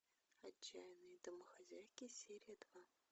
отчаянные домохозяйки серия два